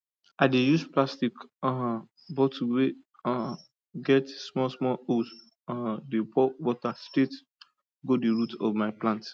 i dey use plastic um bottle wey um get small small hole um dey pour water straight go the root of my plant